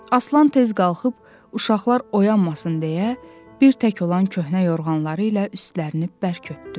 Aslan tez qalxıb uşaqlar oyanmasın deyə bir tək olan köhnə yorğanları ilə üstlərini bərk örtdü.